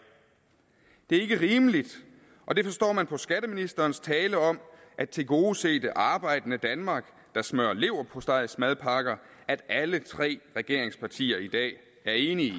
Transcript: det er ikke rimeligt og det forstår man på skatteministerens tale om at tilgodese det arbejdende danmark der smører leverpostejmadpakker og at alle tre regeringspartier i dag er enige